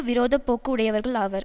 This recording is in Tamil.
விரோத போக்கு உடையவர்கள் ஆவர்